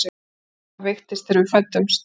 Mamma veiktist þegar við fæddumst.